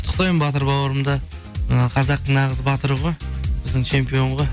құттықтаймын батыр бауырымды і қазақтың нағыз батыры ғой біздің чемпион ғой